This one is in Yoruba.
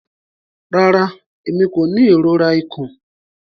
Rara, Emi ko ni irora ikun.